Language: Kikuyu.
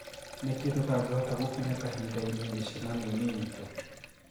Niki tũtangihota gũkinya kahinda-ini micemanio-ini itũ?"